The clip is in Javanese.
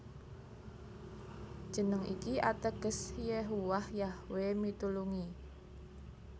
Jeneng iki ateges Yehuwah Yahwe mitulungi